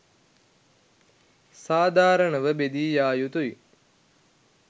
සාධාරණව බෙදී යායුතුයි